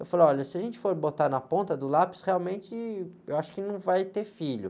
Eu falo, olha, se a gente for botar na ponta do lápis, realmente, eu acho que não vai ter filho.